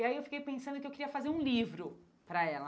E aí eu fiquei pensando que eu queria fazer um livro para ela.